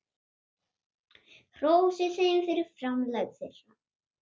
Hrósið þeim fyrir framlag þeirra.